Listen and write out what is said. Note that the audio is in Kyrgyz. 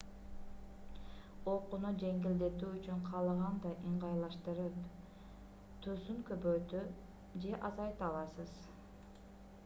окууну жеңилдетүү үчүн каалагандай ыңгайлаштырып түсүн көбөйтө же азайта аласыз